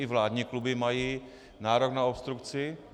I vládní kluby mají nárok na obstrukci.